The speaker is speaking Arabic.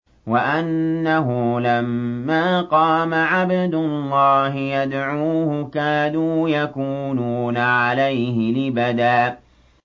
وَأَنَّهُ لَمَّا قَامَ عَبْدُ اللَّهِ يَدْعُوهُ كَادُوا يَكُونُونَ عَلَيْهِ لِبَدًا